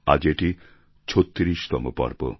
আজ এটি ৩৬ তম পর্ব